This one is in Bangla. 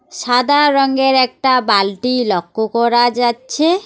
সাদা রঙের একটা বালটি লক্ষ করা যাচ্ছে।